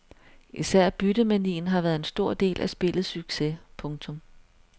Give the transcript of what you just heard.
Især byttemanien har været en stor del af spillets succes. punktum